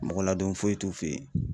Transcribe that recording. Mɔgɔ ladon foyi t'u fe yen